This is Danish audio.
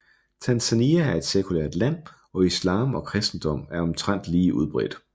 Tanzania er et sekulært land og islam og kristendom er omtrent lige udbredt